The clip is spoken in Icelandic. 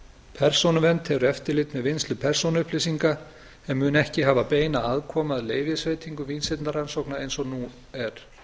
persónuvernd hefur eftirlit með vinnslu persónuupplýsinga en mun ekki hafa beina aðkomu að leyfisveitingu vísindarannsókna eins og nú er